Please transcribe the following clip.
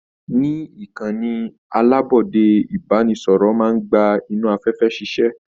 Ní ìkànnì alabọde, ibanisọrọ máa n gbà inú afẹfẹ ṣiṣẹ.